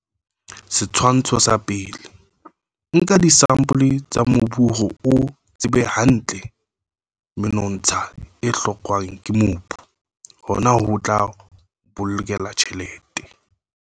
Setshwantsho sa 1. Nka disampole tsa mobu hore o tsebe hantle menontsha e hlokwang ke mobu, hona ho tla o bolokela tjhelete.